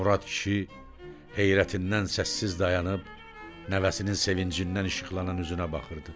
Murad kişi heyrətindən səssiz dayanıb nəvəsinin sevincindən işıqlanan üzünə baxırdı.